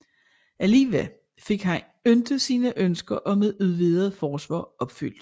Alligevel fik han ikke sine ønsker om et udvidet forsvar opfyldt